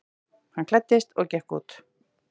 Hann klæddist og gekk út.